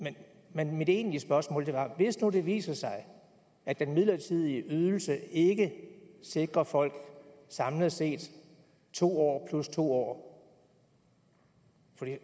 men mit egentligt spørgsmål var hvis nu det viser sig at den midlertidige ydelse ikke sikrer folk samlet set to år plus to år for